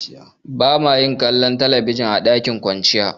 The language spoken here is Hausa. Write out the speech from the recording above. Ba ma yin kallon talabijin a dakin kwanciya.